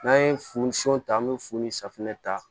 N'an ye funusun ta an bɛ funu ni safunɛ ta